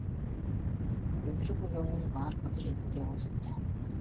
өтірік өлеңнің бар құдіреті де осында